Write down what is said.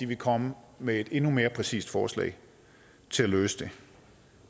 vil komme med et endnu mere præcist forslag til at løse det